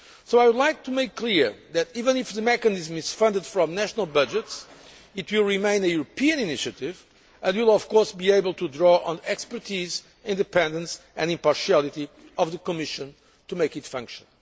I would like to make clear that even if the mechanism is funded from national budgets, it will remain a European' initiative, and will of course be able to draw on the expertise, independence and impartiality of the Commission to make it function.